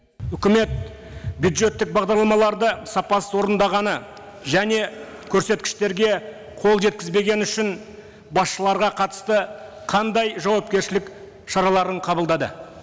үкімет бюджеттік бағдарламаларды сапасыз орындағаны және көрсеткіштерге қол жеткізбегені үшін басшыларға қатысты қандай жауапкершілік шараларын қабылдады